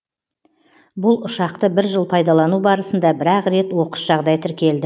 бұл ұшақты бір жыл пайдалану барысында бір ақ рет оқыс жағдай тіркелді